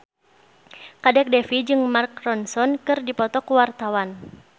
Kadek Devi jeung Mark Ronson keur dipoto ku wartawan